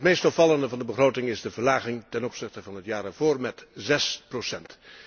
Het meest opvallende van de begroting is de verlaging ten opzichte van het jaar daarvoor met zes procent.